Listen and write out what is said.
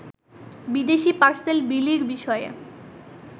বিদেশী পার্সেল বিলির বিষয়ে